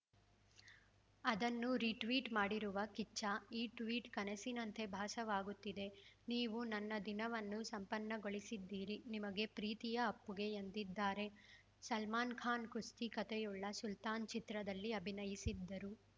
ಅದನ್ನು ರೀಟ್ವೀಟ್‌ ಮಾಡಿರುವ ಕಿಚ್ಚ ಈ ಟ್ವೀಟ್‌ ಕನಸಿನಂತೆ ಭಾಸವಾಗುತ್ತಿದೆ ನೀವು ನನ್ನ ದಿನವನ್ನು ಸಂಪನ್ನಗೊಳಿಸಿದ್ದೀರಿ ನಿಮಗೆ ಪ್ರೀತಿಯ ಅಪ್ಪುಗೆ ಎಂದಿದ್ದಾರೆ ಸಲ್ಮಾನ್‌ ಖಾನ್‌ ಕುಸ್ತಿ ಕತೆಯುಳ್ಳ ಸುಲ್ತಾನ್‌ ಚಿತ್ರದಲ್ಲಿ ಅಭಿನಯಿಸಿದ್ದರು